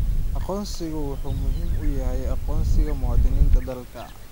Aqoonsigu wuxuu muhiim u yahay aqoonsiga muwaadiniinta dalka.